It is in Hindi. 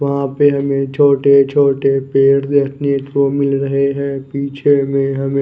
वहां पे हमे छोटे छोटे पेड़ देखने को मिल रहे हैं पीछे में हमें--